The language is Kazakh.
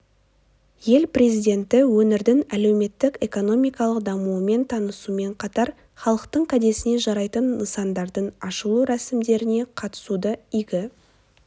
ел президенті өңірдің әлеуметтік-экономикалық дамуымен танысумен қатар халықтың кәдесіне жарайтын нысандардың ашылу рәсімдеріне қатысуды игі